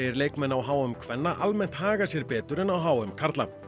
leikmenn á h m kvenna almennt haga sér betur en á h m karla